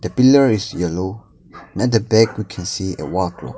pillar is yellow and the back we can see a wall clock.